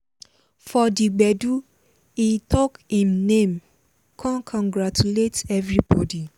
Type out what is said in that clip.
for di gbedu he talk him name con congratulate evribodi.